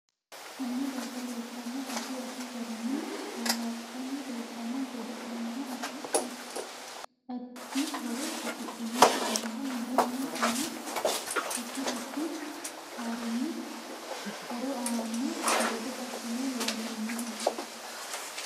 Konne darga leeltanno addi. addi garinni boohartani leeltano godolaano addi addihoro afidhinote insa mule noo mini addi addi harinni horo aano geda asssine loonsooniho